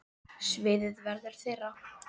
Sviðið verður þeirra.